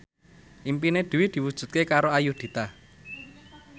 impine Dwi diwujudke karo Ayudhita